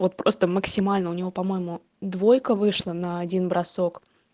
вот просто максимально у него по-моему двойка вышла на один бросок